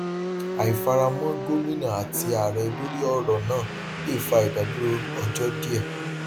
àìfaramọ gómìnà àti ààrẹ lórí ọrọ náà le fa ìdádúró ọjọ díẹ